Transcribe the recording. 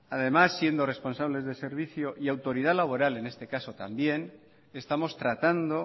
además siendo responsables del servicio y autoridad laboral en este caso también estamos tratando